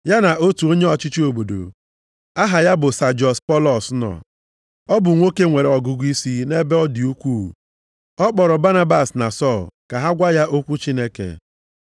Ya na otu onye ọchịchị obodo, aha ya bụ Sajiọs Pọlọs nọ. Ọ bụ nwoke nwere ọgụgụisi nʼebe ọ dị ukwuu, ọ kpọrọ Banabas na Sọl ka ha gwa ya okwu nke Chineke.